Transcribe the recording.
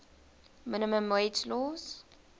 minimum wage laws